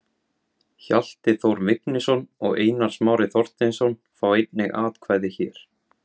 Hjalti Þór Vignisson og Einar Smári Þorsteinsson fá einnig atkvæði hér.